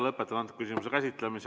Lõpetan selle küsimuse käsitlemise.